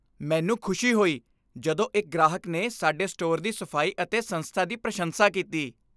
ਮੈਨੂੰ ਖੁਸ਼ੀ ਹੋਈ ਜਦੋਂ ਇੱਕ ਗ੍ਰਾਹਕ ਨੇ ਸਾਡੇ ਸਟੋਰ ਦੀ ਸਫ਼ਾਈ ਅਤੇ ਸੰਸਥਾ ਦੀ ਪ੍ਰਸ਼ੰਸਾ ਕੀਤੀ।